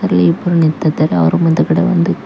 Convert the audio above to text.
ಇಲ್ಲಿ ಇಬ್ಬ್ರು ನಿಂತಿದ್ದರೆ ಅವ್ರ್ ಮುಂದ್ಗಡೆ ಒಂದು--